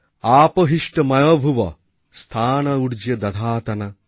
আপো হিষ্ঠ ময়ো ভুবঃ স্থা ন উর্জে দধাতন